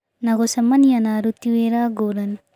Na gũcemania na aruti wĩra ngũrani